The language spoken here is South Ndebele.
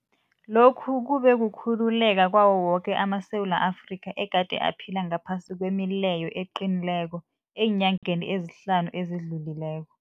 Lokhu kube kukhululeka kwawo woke amaSewula Afrika egade aphila ngaphasi kwemileyo eqinileko eenyangeni ezihlanu ezidlulileko.